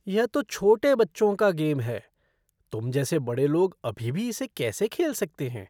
यह तो छोटे बच्चों का गेम है। तुम जैसे बड़े लोग अभी भी इसे कैसे खेल सकते हैं?